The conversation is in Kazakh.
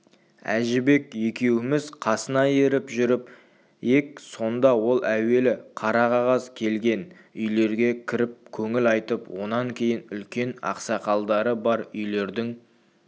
әжібек екеуміз қасына еріп жүріп ек сонда ол әуелі қара қағаз келген үйлерге кіріп көңіл айтып онан кейін үлкен ақсақалдары бар үйлердің